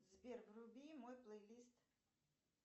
сбер вруби мой плейлист